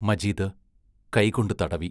മജീദ് കൈകൊണ്ടു തടവി.